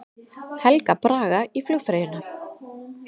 Helga Braga í flugfreyjuna